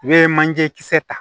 I bɛ manje kisɛ ta